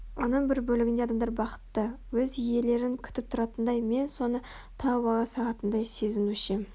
оның бір бөлігінде адамдар бақытты өз иелерін күтіп тұратындай мен соны тауып ала салатындай сезінуші ем